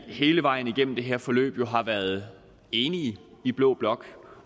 hele vejen igennem det her forløb har været enige i blå blok